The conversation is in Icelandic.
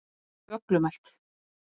Hún er þvoglumælt.